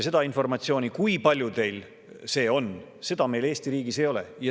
Seda informatsiooni, kui paljudel see on, meil Eesti riigis ei ole.